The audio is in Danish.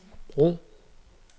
brug